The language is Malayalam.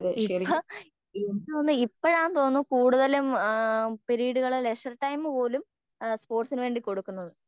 ഇപ്പൊ എനിക്ക് തോന്നുന്നേ ഇപ്പൊഴാന്ന് തോനുന്നു കൂടുതലും ആഹ്മ് പിരീഡുകളെ ലെഷർ ടൈമ്മ് പോലും സ്പോർട്സിന് വേണ്ടി കൊടുക്കുന്നത്